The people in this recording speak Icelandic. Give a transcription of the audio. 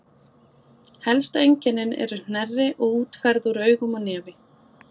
Helstu einkennin eru hnerri og útferð úr augum og nefi.